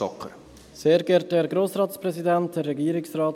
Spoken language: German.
Stocker, Sie haben das Wort.